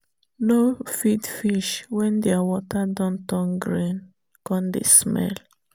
no feed fish wen thier water don turn green come dey smell